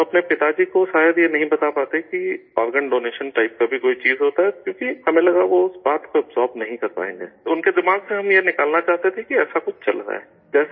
ہم اپنے والد صاحب کو شاید یہ نہیں بتا پاتے کہ آرگن ڈونیشن ٹائپ کی بھی کوئی چیز ہوتی ہے، کیوں کہ ہمیں لگا، وہ اس بات کو ہضم نہیں کر پائیں گے، تو ان کے دماغ سے ہم یہ نکالنا چاہتے تھے کہ ایسا کچھ چل رہا ہے